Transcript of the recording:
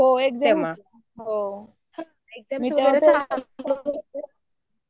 हो एक्साम होते